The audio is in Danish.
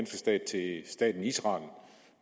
stat til staten israel